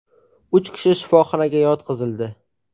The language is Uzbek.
Uch kishi shifoxonaga yotqizildi.